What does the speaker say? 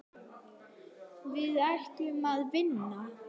Við ætlum að vinna.